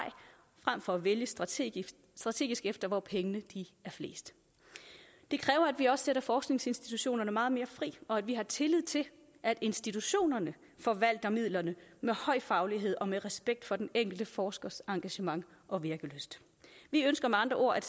frem for at vælge strategisk strategisk efter hvor pengene er flest det kræver at sætter forskningsinstitutionerne meget mere fri og at vi har tillid til at institutionerne forvalter midlerne med høj faglighed og med respekt for den enkelte forskers engagement og virkelyst vi ønsker med andre ord at